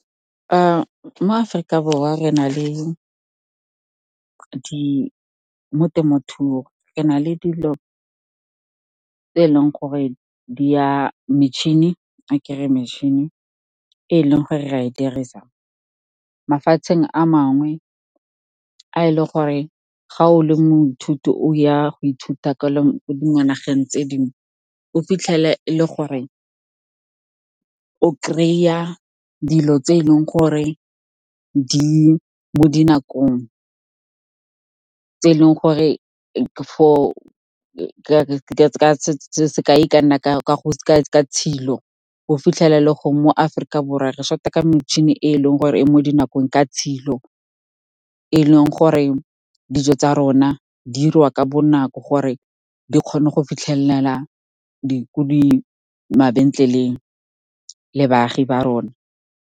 Mo Aforika Borwa mo temothuong, re na le dilo tse e leng go re di a tla ke re metšhini e e leng gore re e dirisa. Mafatsheng a mangwe, ga e le gore ga o le moithuti o ya go ithuta ko dinageng tse dingwe, o fitlhela e le gore o kry-a dilo tse e leng gore di mo dinakong sekai e ka nna ka tshilo, o fitlhela gongwe mo Aforika Borwa re short-a ka metšhini e e leng gore e mo dinakong ka tshilo e e leng gore dijo tsa rona di dirwa ka bonako gore di kgone go fitlhelela mabentleleng le baagi ba rona.